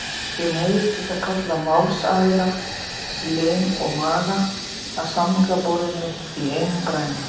Ég neyðist til að kalla málsaðila, lim og maga, að samningaborðinu í einum grænum.